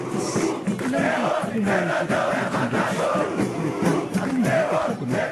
ꯑꯁ꯫ ꯅꯪꯒꯤ ꯍꯨꯃꯥꯡ ꯆꯣꯠꯄ ꯈꯨꯠꯁꯤꯡꯗꯣ ꯅꯪꯒꯤ ꯐꯨꯔꯤꯠꯇ ꯑꯗꯨꯝꯍꯥꯏꯅ ꯇꯩꯊꯣꯛꯀꯅꯨ꯫